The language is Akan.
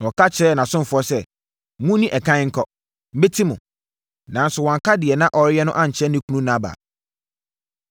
Na ɔka kyerɛɛ nʼasomfoɔ sɛ, “Monni ɛkan nkɔ. Mɛti mo.” Nanso, wanka deɛ na ɔreyɛ no ankyerɛ ne kunu Nabal.